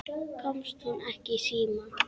Komst hún ekki í síma?